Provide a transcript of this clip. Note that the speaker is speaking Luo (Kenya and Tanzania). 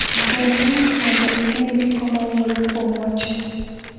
Gwel link mondo ine ndiko ma wuoyo kuom wachno.